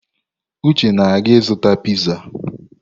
Uche na-aga ịzụta piizá.